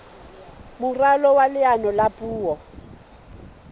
moralo wa leano la puo